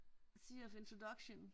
Sea of introduction